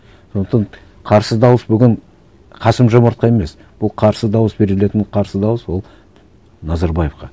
сондықтан қарсы дауыс бүгін қасым жомартқа емес бұл қарсы дауыс берілетін қарсы дауыс ол назарбаевқа